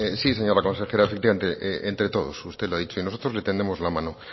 sí señora consejera efectivamente entre todos usted lo ha dicho y nosotros le tendemos la mano